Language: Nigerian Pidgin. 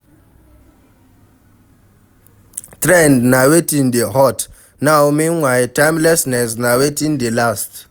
Trend na wetin dey hot now meanwhile timelessness na wetin dey last